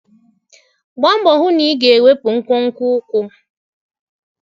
Gbaa mbọ hụ na ị ga-ewepụ nkwonkwo ụkwụ!